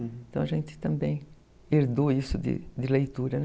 Então a gente também herdou isso de de leitura, né?